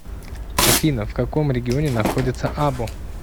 афина в каком регионе находится або